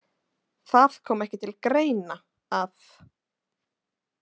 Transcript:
Það kom ekki til greina að.